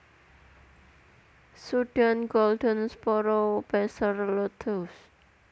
Sudan Golden Sparrow Passer luteus